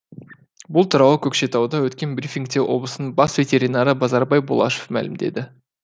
бұл туралы көкшетауда өткен брифингте облыстың бас ветеринары базарбай бұлашев мәлімдеді